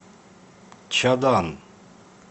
чадан